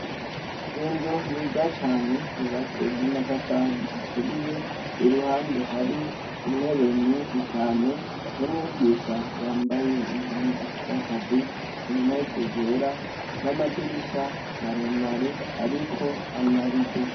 Inzu nziza cane yubatswe n’amatafari aturiye, iruhande hari intebe nyinshi cane n’umwigisha yambaye impuzu z’akazi, impuzu zera n’amadirisha maremare ariko amarido.